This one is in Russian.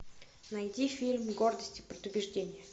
найди фильм гордость и предубеждение